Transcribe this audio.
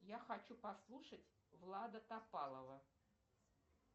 я хочу послушать влада топалова